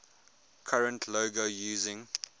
current logo using